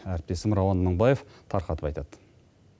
әріптесім рауан мыңбаев тарқатып айтады